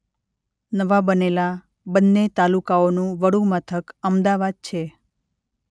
નવા બનેલા બંને તાલુકાઓનું વડુમથક અમદાવાદ છે.